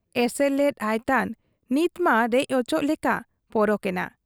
ᱮᱥᱮᱨ ᱞᱮᱫ ᱟᱭᱛᱟᱱ ᱱᱤᱛᱢᱟ ᱨᱮᱡ ᱚᱪᱚᱜ ᱞᱮᱠᱟ ᱯᱚᱨᱚᱠ ᱮᱱᱟ ᱾